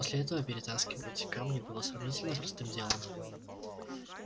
после этого перетаскивать камни было сравнительно простым делом